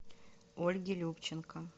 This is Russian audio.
ольги любченко